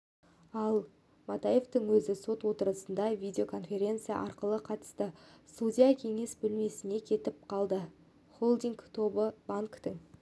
ал матаевтың өзі сот отырысына видеоконференция арқылы қатысты судья кеңес бөлмесіне кетіп қалды холдинг тобы банктің